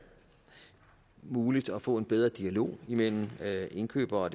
muligt at få en bedre dialog mellem indkøbere og